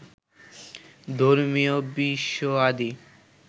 ধর্মীয় বিষয়াদি